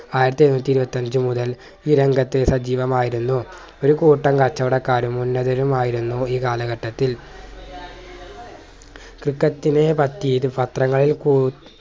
ആയിരത്തി എഴുന്നൂറ്റി ഇരുത്തി അഞ്ച്മുതൽ ഈ രംഗത്ത് സജീവമായിരുന്നു ഒരു കൂട്ടം കച്ചവടക്കാരും ഉന്നതരും ആയിരുന്നു ഈ കാലഘട്ടത്തിൽ ക്രിക്കറ്റിനെ പറ്റി ഇത് പത്രങ്ങളിൽ കൂടുതൽ